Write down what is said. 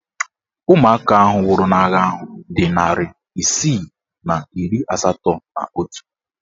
Ụmụaka nwụrụ n'agha ahụ dị narị isii na iri asatọ na otu